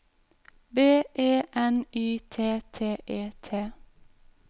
B E N Y T T E T